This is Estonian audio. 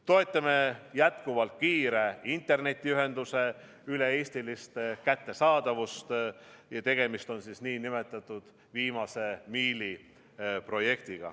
Toetame jätkuvalt kiire internetiühenduse üle-eestilist kättesaadavust, tegemist on nn viimase miili projektiga.